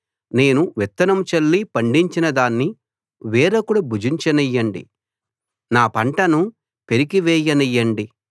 నేను విత్తనం చల్లి పండించిన దాన్ని వేరొకడు భుజించనియ్యండి నా పంటను పెరికి వేయనియ్యండి